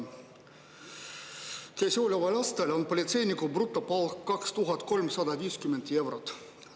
Käesoleval aastal on politseiniku brutopalk 2350 eurot.